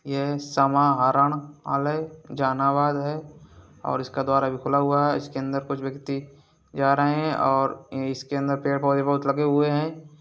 ये समाहरणालय जहानाबाद है और इसका द्वार अभी खुला हुआ है इसके अंदर कुछ व्यक्ति जा रहे हैं और इसके अंदर पेड़ पौधे बहुत लगे हुए हैं।